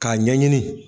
K'a ɲɛɲini